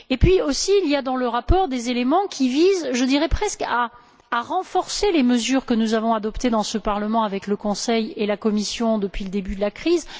Enfin, il y a aussi dans le rapport des éléments qui visent, je dirais presque, à renforcer les mesures que nous avons adoptées dans ce Parlement avec le Conseil et la Commission depuis le début de la crise.